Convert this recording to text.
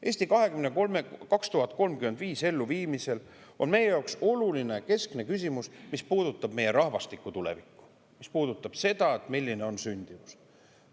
"Eesti 2035" elluviimisel on meie jaoks oluline keskne küsimus, mis puudutab meie rahvastiku tulevikku, mis puudutab seda, milline on sündimus.